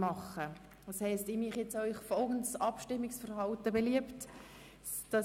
Ich schlage Ihnen deshalb folgendes Abstimmungsprozedere vor: